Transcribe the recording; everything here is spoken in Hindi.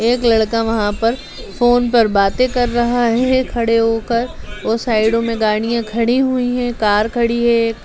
एक लड़का वहाँ पर फोन पर बातें कर रहा है खड़े होकर और साइडों में गाड़ियााँ खड़ी हुई हैं कार खड़ी है एक।